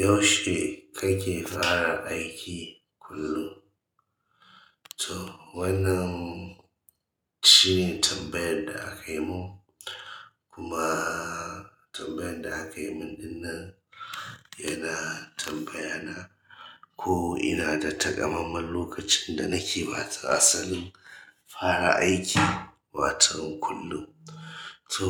Yaushe kake fara aiki kullum? To wannan shine tambayar da aka yi mun, kuma tambayan da aka yimin ɗin nan ina tambayana ko ina da takamaiman lokacin da nake watsa asalin fara aiki waton kullum to